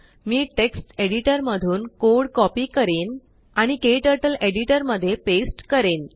मी text editor मधून code copy करेन आणिKTurtleएडिटरमध्ये पेस्ट करेन